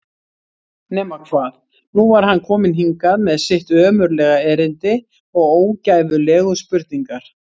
Nema hvað, nú var hann kominn hingað með sitt ömurlega erindi og ógæfulegu spurningar.